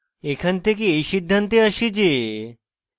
এখান থেকে এই সিদ্ধান্তে আসি যে